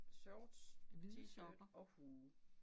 Shorts t-shirt og hue